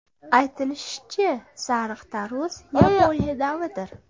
Aytilishicha, sariq tarvuz Yaponiya navidir.